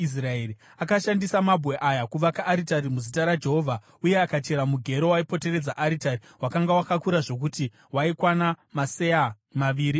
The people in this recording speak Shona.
Akashandisa mabwe aya kuvaka aritari muzita raJehovha, uye akachera mugero waipoteredza aritari wakanga wakakura zvokuti waikwana maseya maviri embeu.